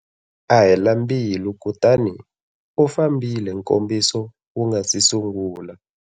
A hela mbilu kutani u fambile nkombiso wu nga si sungula.